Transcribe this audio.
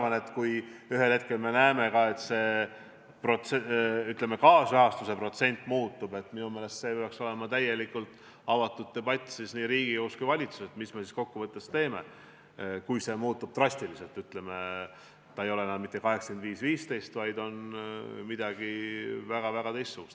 Ja ma arvan, et kui me ühel hetkel näeme, et kaasrahastuse protsent muutub, siis minu meelest peaks olema täielikult avatud debatt nii Riigikogus kui ka valitsuses, et mis me siis kokkuvõttes teeme – siis, kui see muutub drastiliselt, st see ei ole enam mitte 85 : 15, vaid on midagi väga-väga teistsugust.